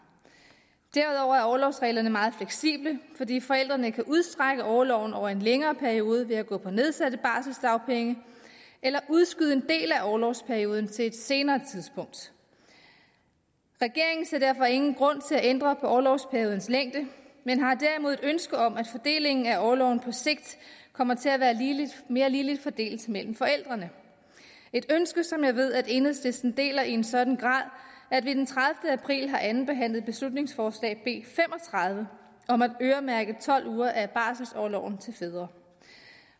derudover er orlovsreglerne meget fleksible fordi forældrene kan udstrække orloven over en længere periode ved at gå på nedsatte barselsdagpenge eller udskyde en del af orlovsperioden til et senere tidspunkt regeringen ser derfor ingen grund til at ændre på orlovsperiodens længde men har derimod et ønske om at fordelingen af orloven på sigt kommer til at være mere ligeligt fordelt mellem forældrene et ønske som jeg ved at enhedslisten deler i en sådan grad at vi den tredivete april andenbehandlede beslutningsforslag nummer b fem og tredive om at øremærke tolv uger af barselsorloven til fædre